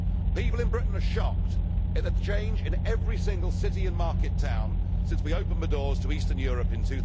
People in Britain are shocked at the change in every single city and market town since we opened the doors to eastern Europe in